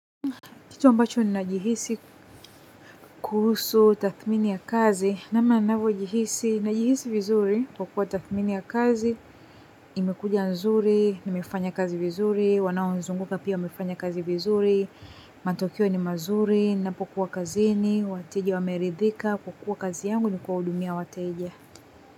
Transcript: Kitu ambacho ninajihisi kuhusu tathmini ya kazi, namna ninavyojihisi najihisi vizuri kwa kuwa tathmini ya kazi, imekuja nzuri, nimefanya kazi vizuri, wanao nizunguka pia wamefanya kazi vizuri. Matokeo ni mazuri, ninapokuwa kazini, wateja wameridhika, kwa kuwa kazi yangu nikuwahudumia wateja.